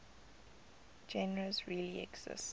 genres really exist